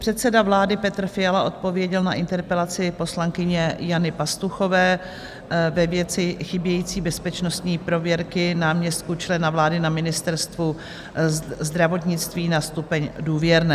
Předseda vlády Petr Fiala odpověděl na interpelaci poslankyně Jany Pastuchové ve věci chybějící bezpečnostní prověrky náměstků člena vlády na Ministerstvu zdravotnictví na stupeň důvěrné.